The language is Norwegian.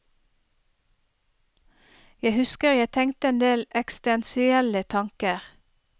Jeg husker jeg tenkte en del eksistensielle tanker.